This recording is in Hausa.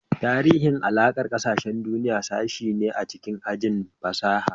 Tarihi da Alakar Ƙasashen Duniya sashe ne a cikin ajin fasaha.